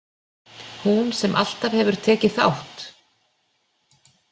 Hún sem alltaf hefur tekið þátt.